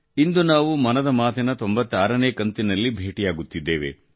ಇಂದು ನಾವು ಮನದ ಮಾತಿನ 96 ನೇ ಕಂತಿನಲ್ಲಿ ಭೇಟಿಯಾಗುತ್ತಿದ್ದೇವೆ